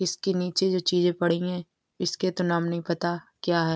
इसके नीचे जो चीजें पड़ी है इसके तो नाम नहीं पता क्या है।